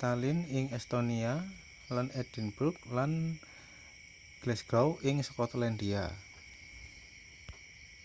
tallinn ing estonia lan edinburgh lan glasgow ing skotlandia